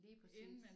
Lige præcis